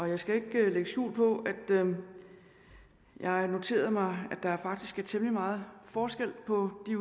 jeg skal ikke lægge skjul på at jeg har noteret mig at der faktisk er temmelig meget forskel på de